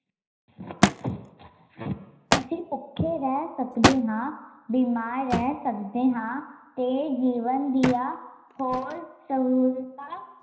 ਅਸੀਂ ਭੁੱਖੇ ਰਹਿ ਸਕਦੇ ਹਾਂ, ਬਿਮਾਰ ਰਹਿ ਸਕਦੇ ਹਾਂ ਤੇ ਜੀਵਨ ਦੀਆ ਹੋਰ ਸਹੂਲਤਾਂ